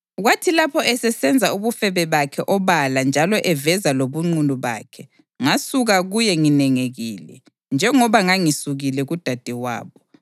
Kwathi lapho esesenza ubufebe bakhe obala njalo eveza lobunqunu bakhe, ngasuka kuye nginengekile, njengoba ngangisukile kudadewabo.